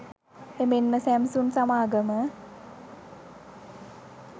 එමෙන්ම සැම්සුන් සමාගම